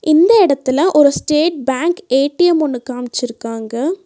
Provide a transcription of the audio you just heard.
இந்த எடத்துல ஒரு ஸ்டேட் பேங்க் ஏ_டி_எம் ஒன்னு காம்ச்சுருக்காங்க.